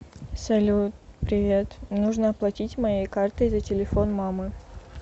салют привет нужно оплатить моей картой за телефон мамы